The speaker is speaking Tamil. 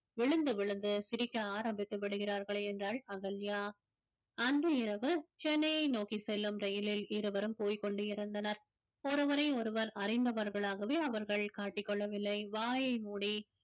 விழுந்து விழுந்து சிரிக்க ஆரம்பித்து விடுகிறார்களே என்றாள் அகல்யா அன்று இரவு சென்னையை நோக்கி செல்லும் ரயிலில் இருவரும் போய்க் கொண்டு இருந்தனர் ஒருவரை ஒருவர் அறிந்தவர்களாகவே அவர்கள் காட்டிக் கொள்ளவில்லை வாயை மூடி